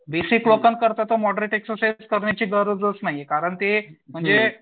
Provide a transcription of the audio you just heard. basic लोकांकरता तर moderate exercise करण्याची गरजच नाहीयेत कारण ते म्हणजे